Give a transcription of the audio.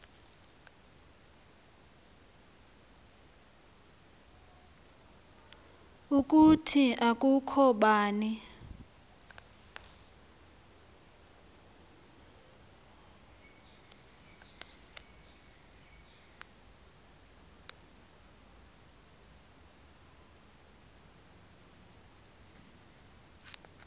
ukuthi akukho bani